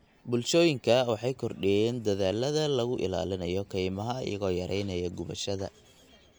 Bulshooyinka waxay kordhiyeen dadaallada lagu ilaalinayo kaymaha iyagoo yareynaya gubashada.